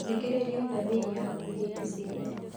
Thikĩrĩria thamiri yaku hĩndĩ ciothe